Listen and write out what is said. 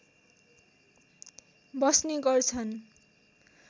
बस्ने गर्छन्